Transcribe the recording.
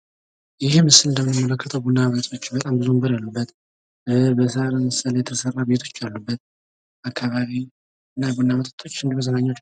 ይህ ምስል እንደምንመለከተው ቡና ቤቶች ብዙ ወንበሮች ያሉበት በሰአት ምሳሌ የተሰራ ቤቶች ያሉበት አካባቢና ቡና ቤቶች እንዱሁ መዝናኛዎች።